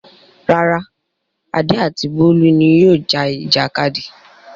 Rárá, Adé àti Bólú ni yóò ja ìjàkadì.